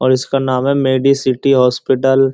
और इसका नाम है मेडी सिटी हॉस्पिटल ।